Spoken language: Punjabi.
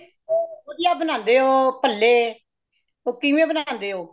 ਤੁਸੀਂ ਵੱਡੀਆਂ ਬਣਾਂਦੇ ਹੋ ਬੱਲੇ , ਉਹ ਕਿਵੇਂ ਬਣਾਂਦੇ ਹੋ